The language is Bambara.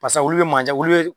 olu bɛ mandiya olu